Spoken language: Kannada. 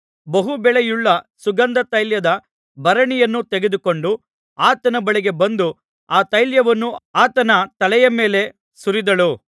ಬಹು ಬೆಲೆಯುಳ್ಳ ಸುಗಂಧತೈಲದ ಭರಣಿಯನ್ನು ತೆಗೆದುಕೊಂಡು ಆತನ ಬಳಿಗೆ ಬಂದು ಆ ತೈಲವನ್ನು ಆತನ ತಲೆಯ ಮೇಲೆ ಸುರಿದಳು